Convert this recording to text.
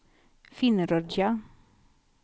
Finnerödja